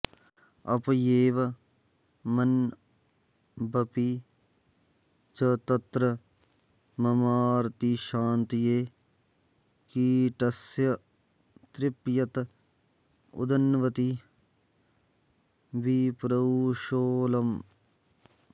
अप्येवमण्वपि च तत्र ममार्तिशान्त्यै कीटस्य तृप्यत उदन्वति विप्रुषोऽलम्